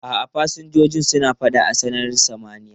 A'a, fasinjojin suna fada a sararin samaniya.